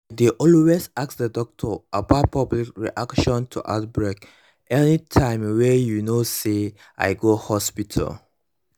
i dey always ask the doctor about public reaction to outbreak anytym wey you know say i go hospital